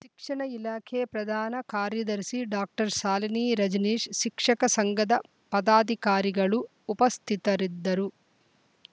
ಶಿಕ್ಷಣ ಇಲಾಖೆ ಪ್ರಧಾನ ಕಾರ್ಯದರ್ಶಿ ಡಾಕ್ಟರ್ ಶಾಲಿನಿ ರಜನೀಶ್‌ ಶಿಕ್ಷಕ ಸಂಘದ ಪದಾಧಿಕಾರಿಗಳು ಉಪಸ್ಥಿತರಿದ್ದರು